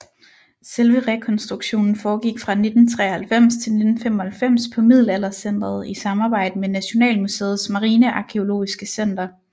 Selve rekonstruktionen foregik fra 1993 til 1995 på Middelaldercentret i samarbejde med Nationalmuseets Marinearkæologiske Center